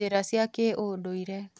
Njĩra cia kĩũndũire